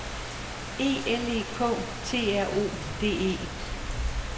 E L E K T R O D E